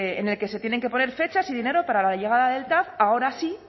en el que se tienen que poner fechas y dinero para la llegada del tav ahora sí